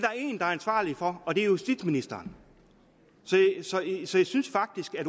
ansvarlig for og det er justitsministeren så jeg synes synes faktisk at